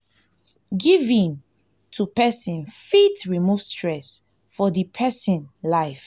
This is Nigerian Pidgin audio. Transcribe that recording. giving to person fit remove stress and worries for di person life